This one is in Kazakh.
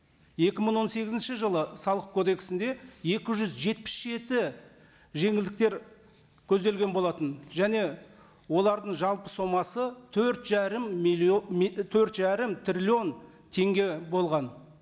екі мың он сегізінші жылы салық кодексінде екі жүз жетпіс жеті жеңілдіктер көзделген болатын және олардың жалпы сомасы төрт жарым миллион төрт жарым триллион теңге болған